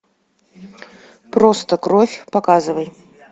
просто кровь показывай